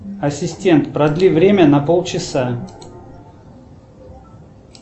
ассистент продли время на пол часа